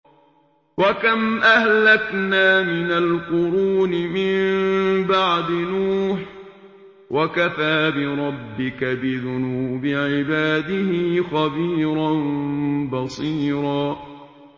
وَكَمْ أَهْلَكْنَا مِنَ الْقُرُونِ مِن بَعْدِ نُوحٍ ۗ وَكَفَىٰ بِرَبِّكَ بِذُنُوبِ عِبَادِهِ خَبِيرًا بَصِيرًا